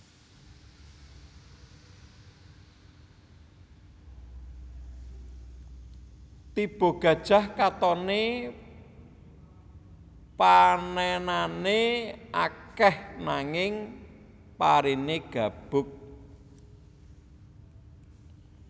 Tiba Gajah katoné panènané akèh nanging pariné gabug